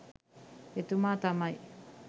එතුමා තමයි.